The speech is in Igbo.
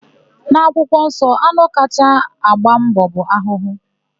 N'akwụkwọnsọ, anụ kacha agba mbọ bụ ahụhụ.